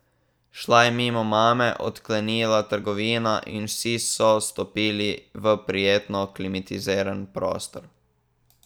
Šla je mimo mame, odklenila trgovino in vsi so stopili v prijetno klimatizirani prostor.